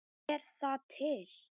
Er það til?